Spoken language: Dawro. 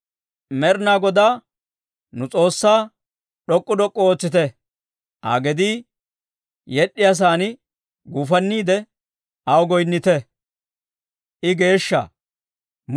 Med'inaa Godaa nu S'oossaa d'ok'k'u d'ok'k'u ootsite; Aa gedii yed'd'iyaasaan guufanniide aw goyinnite. I geeshsha!